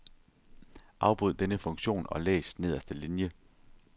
Afbryd denne funktion og læs nederste linie.